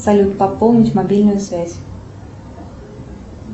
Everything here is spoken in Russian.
салют пополнить мобильную связь